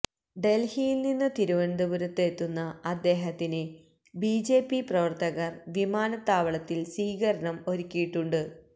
ഡല്ഹിയില് നിന്ന് തിരുവനന്തപുരത്ത് എത്തുന്ന അദ്ദേഹത്തിന് ബിജെപി പ്രവര്ത്തകര് വിമാനത്താവളത്തില് സ്വീകരണം ഒരുക്കിയിട്ടുണ്ട്